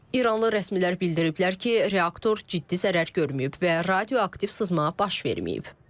İranlı rəsmilər bildiriblər ki, reaktor ciddi zərər görməyib və radioaktiv sızma baş verməyib.